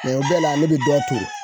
Mun bɛɛ la ne bi dɔ turu